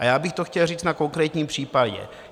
A já bych to chtěl říct na konkrétním případě.